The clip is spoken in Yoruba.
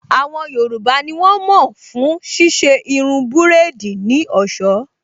Àwọn yoòbá ní wọ́n mọ̀ fún ṣíṣe irun búrèdì ní ọ̀sọ́